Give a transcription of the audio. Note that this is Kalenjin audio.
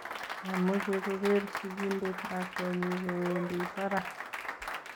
mamechei kogeer sigindet lakwenyi kowendi barak